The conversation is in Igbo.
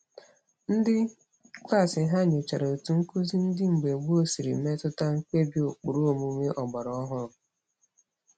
Ndị klaasị ha nyochara otu nkụzi ndị mgbe gboo siri metụta mkpebi ụkpụrụ omume ọgbara ọhụrụ.